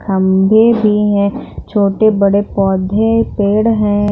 खंभे भी हैं छोटे बड़े पौधे पेड़ हैं।